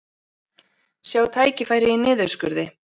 Sjá tækifæri í niðurskurði